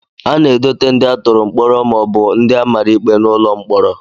A na-edote ndị a tụrụ mkpọrọ maọbụ ndị a mara ikpe n'ụlọ mkpọrọ